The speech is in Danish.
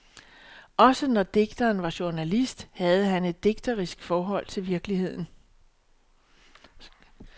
Også når digteren var journalist, havde han et digterisk forhold til virkeligheden.